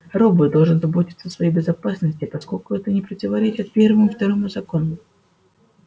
робот должен заботиться о своей безопасности поскольку это не противоречит первому и второму законам